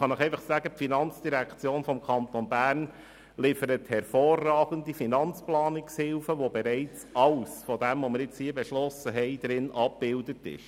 Ich kann Ihnen versichern, dass die FIN hervorragende Finanzplanungshilfen liefert, auf welchen bereits alles, worüber wir hier gesprochen haben, abgebildet ist.